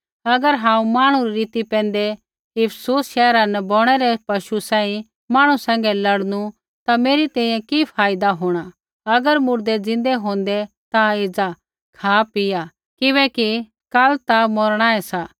अगर हांऊँ मांहणु री रीति पैंधै इफिसुस शैहरा न बौणै रै पशु सांही मांहणु सैंघै लड़नू ता मेरी तैंईंयैं कि फायदा होंणा अगर मुर्दै ज़िन्दै होंदै ता एज़ा खापिया किबैकि काल ता मौरणाऐ सा